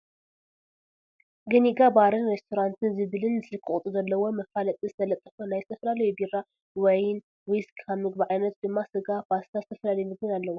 ገኒጋ በርን ሪስቶራንትን ዝብልን ስልኪ ቁፅሪ ዘለዎን መፋለጢ ዝተለጠፎ ናይ ዝተፈላለዩ ቢራ፣ ዋይን፣ ዊስኪ ፣ካብ ምግቢ ዓይነት ድማ ስጋ ፣ ፓስታ ዝተፈላለዩ ምግብን ኣለዎ።